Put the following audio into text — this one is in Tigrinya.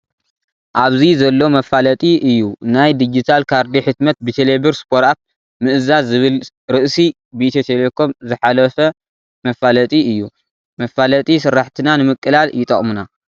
ኣብዚ ዘሎ መፋለጢ እዩ ናይ ድጅታል ካርዲ ሕትመት ብቴሌብር ስፖርኣፕ ምእዛዝ ዝብል ርእሲ ብኢትዮ ቴሌኮም ዝሓለፍ መፋለጢ እዩ። መፋለጢ ስራሕትና ንምቅላጥ ይጠቅሙና።